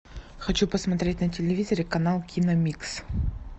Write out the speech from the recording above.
хочу посмотреть на телевизоре канал киномикс